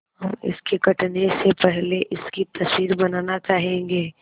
हम इसके कटने से पहले इसकी तस्वीर बनाना चाहेंगे